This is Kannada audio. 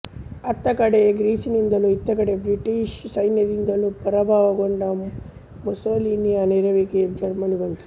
ಅತ್ತ ಕಡೆ ಗ್ರೀಸ್ನಿಂದಲೂ ಇತ್ತಕಡೆ ಬ್ರಿಟಿಷ್ ಸೈನ್ಯದಿಂದಲೂ ಪರಾಭವಗೊಂಡ ಮುಸೋಲಿನಿಯ ನೆರವಿಗೆ ಜರ್ಮನಿ ಬಂತು